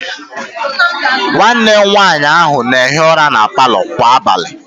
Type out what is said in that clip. Nwanne nwaanyị ahụ na-ehi ụra na palọ kwa abalị